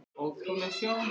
Ótrúleg sjón.